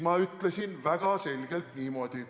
Ma ütlesin väga selgelt niimoodi.